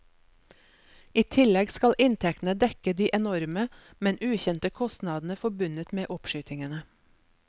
I tillegg skal inntektene dekke de enorme, men ukjente kostnadene forbundet med oppskytingene.